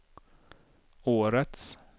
årets